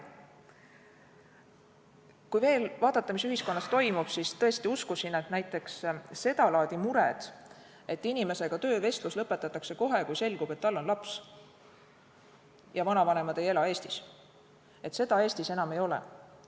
Kui veel vaadata, mis ühiskonnas toimub, siis ma tõesti uskusin, et näiteks seda laadi muresid, et inimesega lõpetatakse töövestlus kohe, kui selgub, et tal on laps ja vanavanemad ei ela Eestis, enam ei ole.